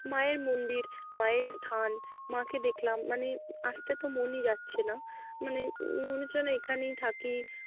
মায়ের মন্দির মায়ের স্থান মাকে দেখলাম মানে আসতে তো মনই যাচ্ছে না মানে উম মনে হচ্ছে যেনো এখানেই থাকি।